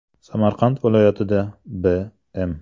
Samarqand viloyatida B.M.